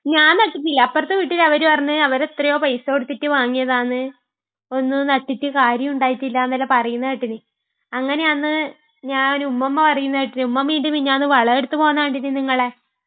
ഞാൻ നട്ടിട്ടില്ല, അപ്പുറത്തെ വീട്ടിലെ അവര് പറഞ്ഞ്...അവര് എത്രയോ പൈസ കൊടുത്തിട്ട് വാങ്ങിയതാന്ന്..ഒന്നും നട്ടിട്ട് കാര്യമുണ്ടായിട്ടില്ല എന്നൊക്കെ പറയുന്ന കേട്ടിന്. അങ്ങനെയാന്ന് ഞാൻ ഉമ്മൂമ്മ പറയുന്ന കേട്ടിന്.ഉമ്മൂമ്മ ഇയിന്റ്റെ മിഞ്ഞാന്ന് വളമെടുത്തു പോകുന്ന കണ്ടിന് നിങ്ങളെ..